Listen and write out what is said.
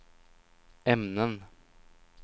ämnen